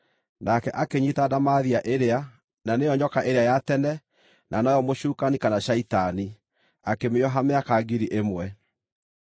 Nake akĩnyiita ndamathia ĩrĩa, na nĩyo nyoka ĩrĩa ya tene, na noyo mũcukani kana Shaitani, akĩmĩoha mĩaka ngiri ĩmwe.